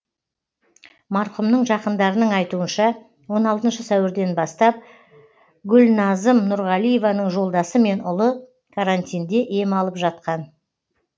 марқұмның жақындарының айтуынша он алтыншы сәуірден бастап гүлназым нұрғалиеваның жолдасы мен ұлы каратинде ем алып жатқан